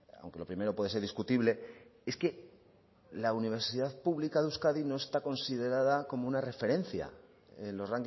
aunque lo primero puede ser discutible es que la universidad pública de euskadi no está considerada como una referencia en los